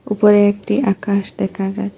উপরে একটি আকাশ দেখা যায়।